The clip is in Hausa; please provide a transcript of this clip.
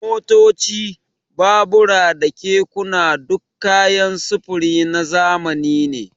Motoci, babura da kekuna duk kayan sufuri na zamani ne.